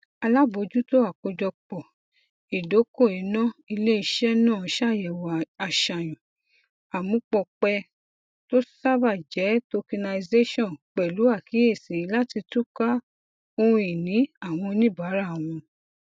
alábòójútó àkójọpọ ìdokoìnà iléiṣẹ náà ṣàyẹwò aṣàyàn amúpọpẹ tó ṣàbá jẹ tokenization pẹlú àkíyèsí láti túkà ohunini àwọn oníbàárà wọn